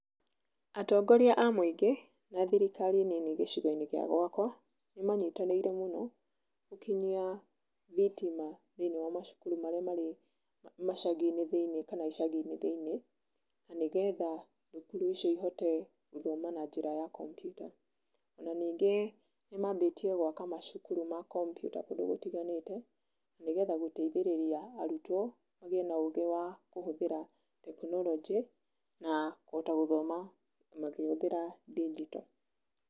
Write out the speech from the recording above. Atongoria a mũingĩ na thirikari nini gĩcigo-inĩ gĩa gwakwa nĩ manyitanĩire mũno gũkinyia thitima thĩinĩ wa macukuru marĩa marĩ macagi-inĩ thĩinĩ kana icagi-inĩ thĩinĩ na nĩgetha thukuru icio ihote gũthoma na njĩra ya kompiuta na ningĩ ni mambĩtie gwaka macukuru ma kompiuta kũndũ gũtiganĩte nĩgetha gũteithĩrĩria arutwo magĩe na ũgĩ wa kũhũthĩra tekinoronjĩ na kũhota gũthoma makĩhũthĩra ndinjito.